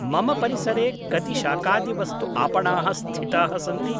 मम परिसरे कति शाकादिवस्तु॒ आपणाः स्थिताः सन्ति?